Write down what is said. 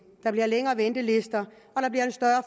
der bliver længere ventelister